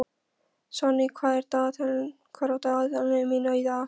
Sonný, hvað er á dagatalinu mínu í dag?